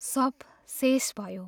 सब शेष भयो।